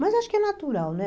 Mas acho que é natural, né?